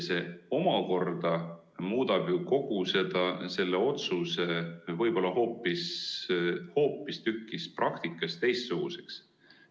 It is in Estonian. See omakorda muudab ju kogu selle otsuse võib-olla praktikas hoopistükkis teistsuguseks.